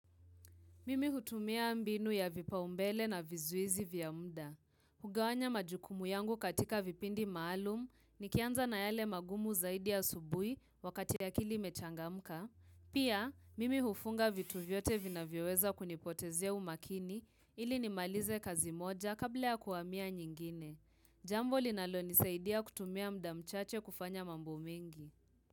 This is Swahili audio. Mimi hutumia mbinu ya vipaumbele na vizuizi vya muda. Hugawanya majukumu yangu katika vipindi maalum nikianza na yale magumu zaidi asubuhi wakati akili imechangamka. Pia, mimi hufunga vitu vyote vinavyoweza kunipotezea umakini ili nimalize kazi moja kabla ya kuhamia nyingine. Jambo linalonisaidia kutumia muda mchache kufanya mambo mengi.